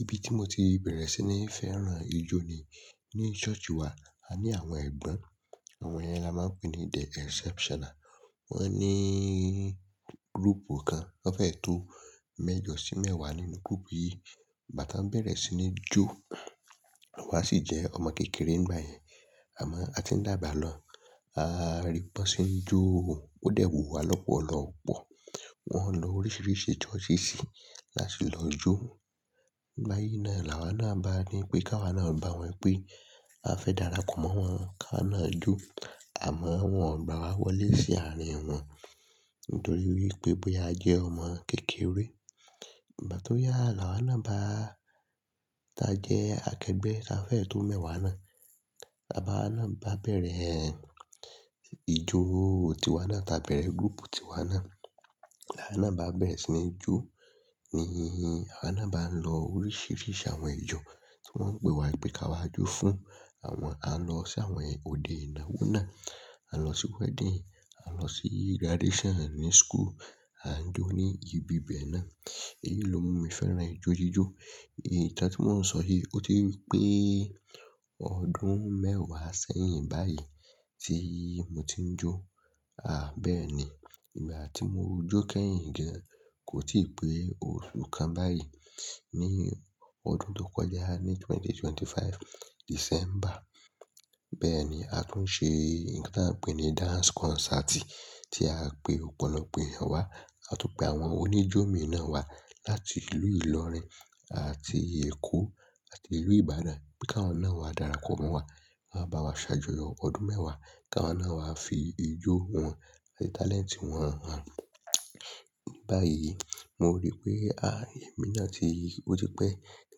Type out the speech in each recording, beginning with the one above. Ibi tí mo ti bẹ̀rẹ̀ sí ní fẹ́ràn ijó ni ní church wa. A ní àwọn ẹ̀gbọ́n, àwọn yen ni a máa ń pè ní The Exceptional. Wọ́n ní group kan, wọ́n fẹ́ tó mẹ́jọ sí mẹ́wàá nínú group yìí. Bà tí wọ́n bẹ̀rẹ̀ sí ní jó, awa sì jẹ́ ọmọ kékeré nígbà yẹn. Àmọ́ a ti ń dàgbà lọ, a rí wọn ṣe é jó, ó dẹ̀ wu wa lọ́pọ̀lọ́pọ̀. Wọ́n ń lo oríṣìíríṣìí church sí láti lọ jó. Bá yí náà làwọn náà bá rí pé ká wa náà bá wọn pé a fẹ́ darapọ̀ mọ́ wọn ká náà jó àmọ́ wọn ò bá wa wọlé sí àárín wọn nítorí wípé bó ya jẹ́ ọmọ kékeré. Igba tó yá làwọn náà bá ta jẹ́ akẹgbẹ́ tá fẹ́ tó mẹ́wàá náà, la wa náà bá bẹ̀rẹ̀ ìjó tí wa náà, ta bẹ̀rẹ̀ group tí wa náà, làá náà bá bẹ̀rẹ̀ sí ní jó ni àwa náà bá ń lọ oríṣìíríṣìí àwọn ijó tí wọ́n ń pe wa pé ká wa jó fún. Àwọn-- a lọ sí àwọn òde ìnáwó náà, a lọ sí wedding, a lọ sí graduation ní school, à ń jó ní ibi bẹ̀ẹ́ náà. Èyí ló mú mi fẹ́ràn ijó jíjó. Ìtàn tí mò ń sọ yìí o ti pe e. Ọdún mẹ́wàá sẹ́yìn báyìí tí mo ti ń jó. À, bẹ́ẹ̀ ni. Ìgbà tí mo jó kẹ́yìn kí í kò tíì pé oṣù kan báyìí. Ní ọdún tó kọjá ní 2025 December, bẹ́ẹ̀ ni a tún ṣe nkán pè ní dance concert tí a pe ọ̀pọ̀lọpọ̀ èèyàn wá àti pe àwọn oníjómi náà wá láti ìlú Ìlọrin àti Èkó àti ìlú Ìbàdàn kí wọn náà wá darapọ̀ mọ́ wa, wọ́n máa bá wa ṣàjọyọ̀ ọdún mẹ́wàá ká náà wá fi ijó wọn àti talent wọn hàn. Bá yìí mo rí pé, à, èmi náà ti-- ó ti pẹ́ tí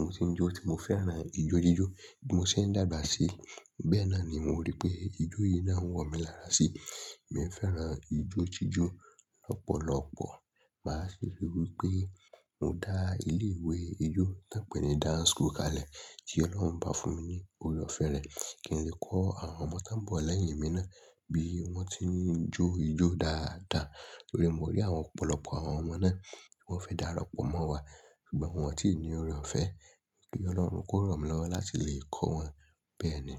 mo ti ń jó tí mo fẹ́ràn ijó jíjó tí mo sì ń dàgbà sí. Bẹ́ẹ̀ náà ni mo rí pé ijó yìí náà ń wọ̀ mí lára sí. Mo fẹ́ràn ijó jíjó lọ́pọ̀lọ́pọ̀. Màá sì ri wípé mo dá ilé ìwé ijó tí wọ́n ń pè ní dance school kalẹ̀ tí Ọlọ́run bá fún mi ní oore-ọ̀fẹ́ rẹ̀ kí n lè kọ́ àwọn ọmọ tó ń bọ̀ lẹ́yìn mi náà bí wọ́n ti ń jó ijó dáadáa. Mo rí àwọn ọ̀pọ̀lọpọ̀ àwọn ọmọ náà wọ́n fẹ́ darapọ̀ mọ́ wa ṣùgbọ́n wọn ò tí ì ní oore-ọ̀fẹ́ kí Ọlọ́run kó ràn mi lọ́wọ́ láti lè kọ́ wọn. Bẹ́ẹ̀ ni.